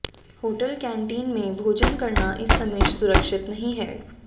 hotel canteen में भोजन करना इस समय सुरक्षित नहीं है